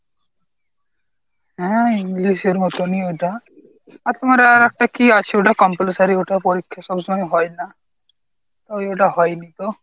হ্যাঁ english এর মতনই ওইটা। আর তোমার আর একটা কী আছে ওটা compulsory ওটা পরীক্ষ সব সময় হয় না। ও ওইটা হয় নি তো।